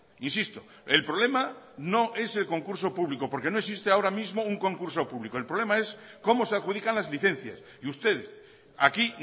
insisto el problema no es el concurso público porque no existe ahora mismo un concurso público el problema es cómo se adjudican las licencias y ustedes aquí